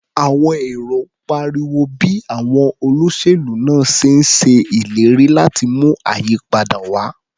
Àwọn èrò pariwo bí àwọn olóṣèlú náà ṣe ń ṣe ìlérí láti mú ayípadà wá.